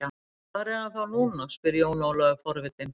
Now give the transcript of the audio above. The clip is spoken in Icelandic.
Hvar er hann þá núna spurði Jón Ólafur forvitinn.